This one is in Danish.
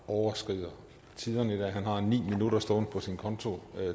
overskrider tiderne i dag han har ni minutter stående på sin konto